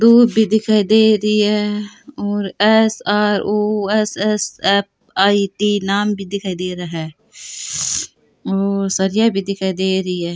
दूब भी दिखाई दे रि है और S R O S S F I D नाम भी दिखाई दे रहा है और सरिया भी दिखाई दे रही है।